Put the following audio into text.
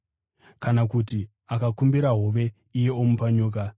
Kana kuti akakumbira hove iye omupa nyoka?